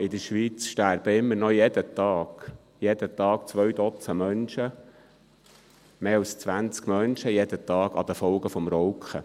In der Schweiz sterben immer noch jeden Tag –– zwei Dutzend Menschen, mehr als zwanzig Menschen jeden Tag, an den Folgen des Rauchens.